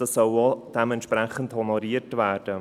Dies soll auch entsprechend honoriert werden.